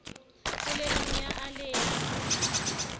polelong ya a le ya